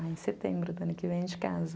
Aí em setembro, ano que vem, a gente casa.